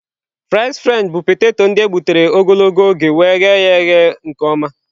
Fries Frenchị bụ poteto ndị e gbutere ogologo oge wee eghe ya eghe nke ọma..